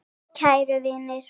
Jú, kæru vinir.